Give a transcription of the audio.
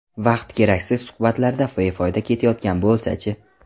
Vaqt keraksiz suhbatlarda befoyda ketayotgan bo‘lsa-chi?